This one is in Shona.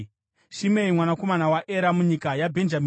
Shimei mwanakomana waEra, munyika yaBhenjamini;